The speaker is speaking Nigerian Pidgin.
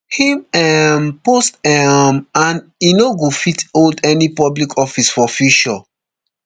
im um post um and e no go fit hold any public office for future